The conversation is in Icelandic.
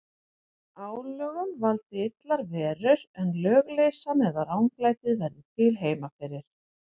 Álögum valdi illar verur, en lögleysan eða ranglætið verði til heima fyrir.